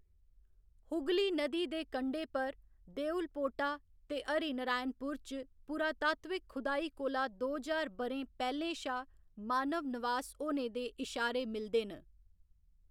हुगली नदी दे कंढे पर देउलपोटा ते हरिनारायणपुर च पुरातात्विक खुदाई कोला दो ज्हार ब'रें पैह्‌लें शा मानव नवास होने दे इशारे मिलदे न।